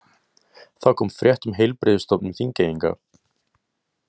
Þá kom frétt um Heilbrigðisstofnun Þingeyinga.